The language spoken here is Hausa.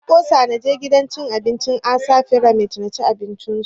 Na ƙosa na je gidan cin abincin ASAA fyramid na ci abinci su